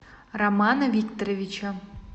романа викторовича